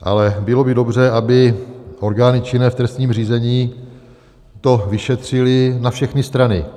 Ale bylo by dobře, aby orgány činné v trestním řízení to vyšetřily na všechny strany.